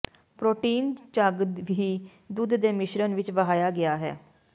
protein ਝੱਗ ਹੀ ਦੁੱਧ ਦੇ ਮਿਸ਼ਰਣ ਵਿੱਚ ਵਹਾਇਆ ਗਿਆ ਹੈ